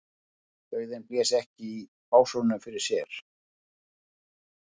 Dauðinn blæs ekki í básúnum fyrir sér.